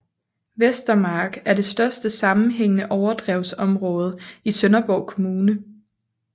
Vestermark er det største sammenhængende overdrevsområde i Sønderborg Kommune